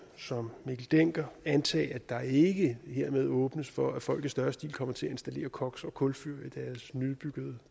som mikkel dencker antage at der ikke hermed åbnes for at folk i større stil kommer til at installere koks og kulfyr i deres nybyggede